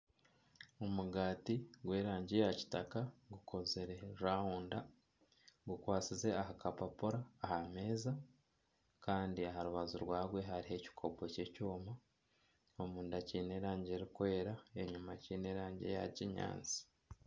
Omugaati gw'erangi ya kitaka gukozire rawunda gukwatsize ah'akapapura aha meeza kandi aha rubaju rwagwe hariho ekikopo ky'ekyoma omunda kyine erangi erukwera enyuma kyine erangi eya kinyaatsi.